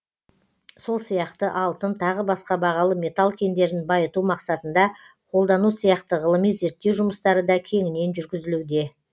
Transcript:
сол сияқты алтын тағы басқа бағалы металл кендерін байыту мақсатында қолдану сияқты ғылыми зерттеу жұмыстары да кеңінен жүргізілуде